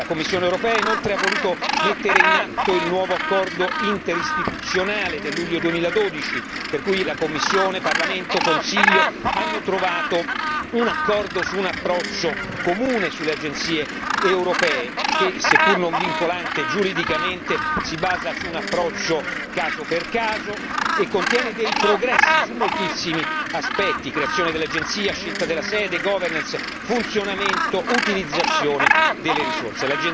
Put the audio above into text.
La Commissione europea inoltre ha voluto mettere in atto il nuovo accordo interistituzionale del luglio 2012, per cui la Commissione, Parlamento, Consiglio hanno trovato un accordo su un approccio comune sulle agenzie europee, che se pur non vincolante giuridicamente, si basa su un approccio caso per caso e contiene dei progressi su moltissimi aspetti creazione dell'agenzia, scelta della sede, governance funzionamento, utilizzazione delle risorse.